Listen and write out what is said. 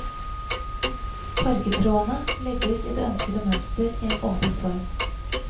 Fargetrådene legges i det ønskede mønster i en åpen form.